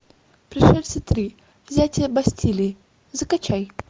пришельцы три взятие бастилии закачай